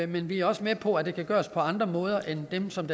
vi er også med på at det kan gøres på andre måder end dem som